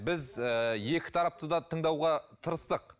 біз ыыы екі тарапты да тыңдауға тырыстық